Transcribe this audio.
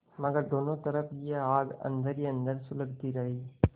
मगर दोनों तरफ यह आग अन्दर ही अन्दर सुलगती रही